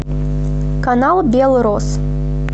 канал белрос